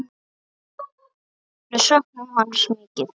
Við söknum hans mikið.